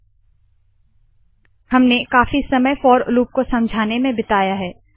व 1 5 3 for x व dispएक्स2 इंड हमने काफी समय फोर लूप को समझाने में बिताया है